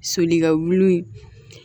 Solikɛ wuli